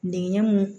Dingɛ mun